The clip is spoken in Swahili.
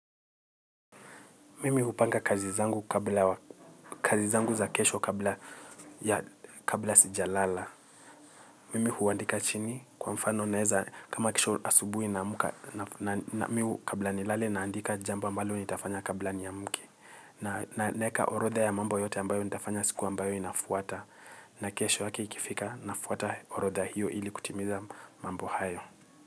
Mimi hupanga kazi zangu za kesho kabla sijalala. Mimi huandika chini kwa mfano naeza kama kesho asubui naamka na mi kabla nilale naandika jambo ambalo nitafanya kabla niamke. Na ninaeka orotha ya mambo yote ambayo nitafanya siku ambayo inafuata. Na kesho yake ikifika nafuata orodha hiyo ili kutimiza mambo hayo.